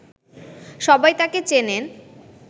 সবাই তাকেই চেনে